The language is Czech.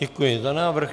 Děkuji za návrh.